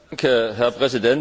Herr Präsident!